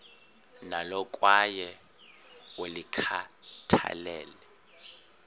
nalo kwaye ulikhathalele